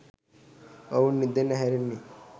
ඔවුන් නින්දෙන් ඇහැරෙන්නෙ